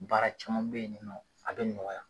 Baara caman bɛ yen nin nɔ, a bɛ nɔgɔya.